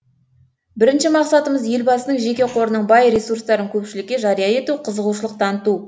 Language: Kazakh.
бірінші мақсатымыз елбасының жеке қорының бай ресурстарын көпшілікке жария ету қызығушылық таныту